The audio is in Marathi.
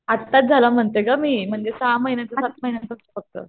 आत्ताचं झाला म्हणते गं मी म्हणजे सहा महिन्यांचा सात महिन्यांचा फक्त.